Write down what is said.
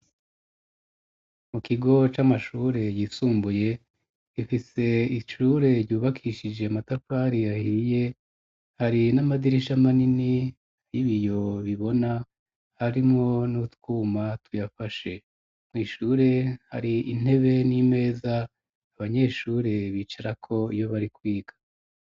Mu kigo c'amashure yisumbuye ifise icure ryubakishije matakwari yahiiye hari n'amadirisha manini y'ibiyo bibona harimwo n'utwuma tuyafashe, mw’ishure hari intebe n'imeza abanyeshureb icarako iyo bari kwiga.